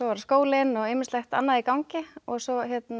skólinn og ýmislegt annað í gangi svo